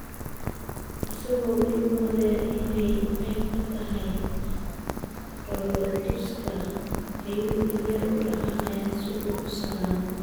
Isagoo weli moodaya inay qayb ka tahay dhoolatuska, ayuu in yar u dhaqaaqay si uu u salaamo.